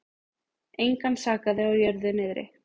Engan sakaði á jörðu niðri.